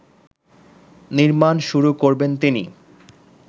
নির্মাণ শুরু করবেন তিনি